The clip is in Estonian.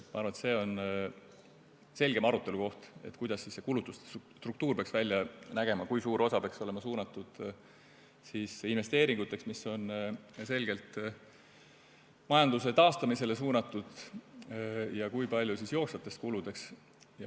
Ma arvan, et see on selge arutelu koht, kuidas kulutuste struktuur peaks välja nägema, kui suur osa peaks olema suunatud investeeringuteks, mis on selgelt majanduse taastumisele suunatud, ja kui palju jooksvateks kuludeks.